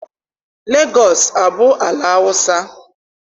Legọọsị abụ ala Awụsa?